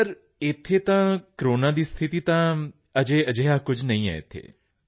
sir ਇੱਥੇ ਤਾਂ corona ਦੀ ਸਥਿਤੀ ਤਾਂ ਅਜੇ ਅਜਿਹਾ ਕੁਝ ਨਹੀਂ ਹੈ ਇੱਥੇ